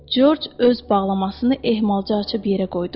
Corc öz bağlamasını ehmalca açıb yerə qoydu.